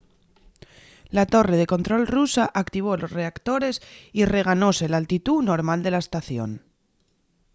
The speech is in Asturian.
la torre de control rusa activó los reactores y re-ganóse l’altitú normal de la estación